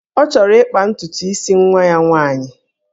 Ọ chọrọ ịkpa ntutu isi nwa ya nwaanyị